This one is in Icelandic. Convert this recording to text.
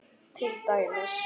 Til dæmis.